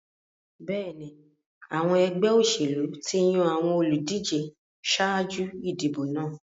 Bẹ́ẹ̀ni, àwọn ẹgbẹ́ òṣèlú ti yan àwọn olùdíje ṣáájú ìdìbò náà.